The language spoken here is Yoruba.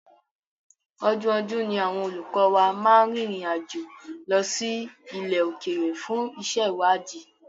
Ọdọọdún ni àwọn olùkọ́ wa máa ń rinrin àjo lọ́ sí ilẹ̀ òkèrè fún iṣé ìwádìí.